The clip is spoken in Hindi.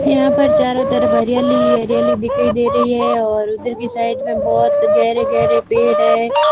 यहां पर चारो तरफ हरियाली ही हरियाली दिखाई दे रही हैं और उधर की साइड में बहोत गहरे गहरे पेड़ हैं।